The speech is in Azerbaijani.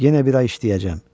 Yenə bir ay işləyəcəm.